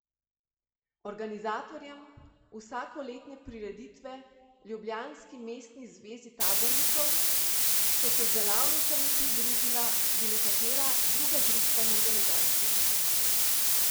Organizatorjem vsakoletne prireditve, ljubljanski Mestni zvezi tabornikov, so se z delavnicami pridružila tudi nekatera druga društva in organizacije.